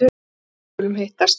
Jú, við skulum hittast.